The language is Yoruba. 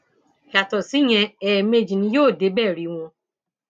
yàtọ síyẹn ẹẹmejì ni yóò débẹ rí wọn